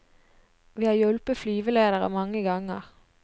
Vi har hjulpet flyvelederne mange ganger.